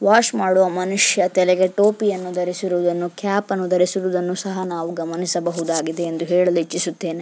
Wash ಮಾಡುವ ಮನುಷ್ಯ ತಲೆಗೆ ಟೋಪಿಯನ್ನು ಧರಿಸಿರುವುದನ್ನು ಕ್ಯಾಪ್ ಅನ್ನು ಧರಿಸಿರುವುದನ್ನು ಸಹ ನಾವು ಗಮನಿಸಬಹುದಾಗಿದೆ ಎಂದು ಹೇಳಲು ಇಚ್ಚಿಸುತ್ತೇನೆ.